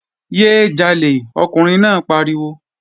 Yé é jalè! Ọkùnrin náà pariwo!